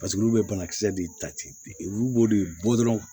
olu bɛ banakisɛ de ta ten wulu b'o de bɔ dɔrɔn